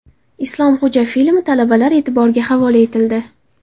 Islomxo‘ja filmi talabalar e’tiboriga havola etildi.